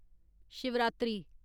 Shivratri